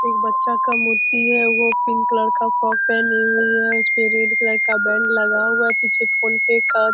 एक बच्चा का मूर्ति है। वो पिंक कलर का फ्रॉक पहनी हुई है। उस पे रेड कलर का बैंड लगा हुआ हैं पीछे फोन पे का --